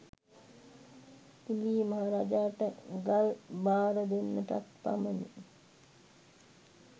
කිලි මහරාජාට ගල් බාර දෙන්නටත් පමණි